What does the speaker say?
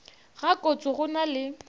ga kotse go na le